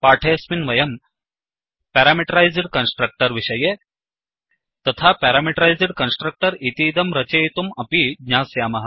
पाठेऽस्मिन् वयम् parameterised constructor विषये तथा प्यारामीटरैस्ड् कन्स्ट्रक्टर् इतीदं रचयितुम् अपि ज्ञास्यामः